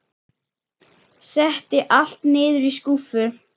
Setti allt niður í skúffu.